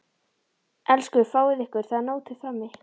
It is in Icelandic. Elsku fáið ykkur, það er nóg til frammi.